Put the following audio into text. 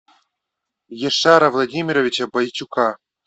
яшара владимировича бойчука